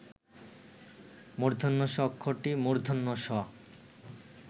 ষ অক্ষরটি মূর্ধন্য ষ